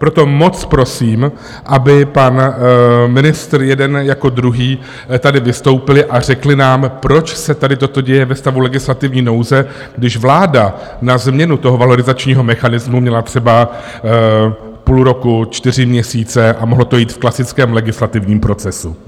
Proto moc prosím, aby pan ministr jeden jako druhý tady vystoupili a řekli nám, proč se tady toto děje ve stavu legislativní nouze, když vláda na změnu toho valorizačního mechanismu měla třeba půl roku, čtyři měsíce a mohlo to jít v klasickém legislativním procesu.